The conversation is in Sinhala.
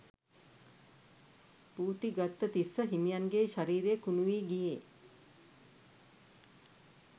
පූතිගත්ත තිස්ස හිමියන්ගේ ශරීරය කුණුවී ගියේ